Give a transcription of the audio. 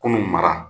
Kunun mara